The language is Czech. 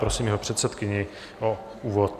Prosím jeho předsedkyni o úvod.